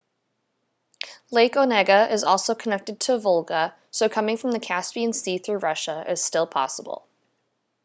lake onega is also connected to volga so coming from the caspian sea through russia is still possible